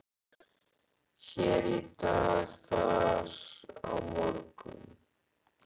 Hér í dag, þar á morgun.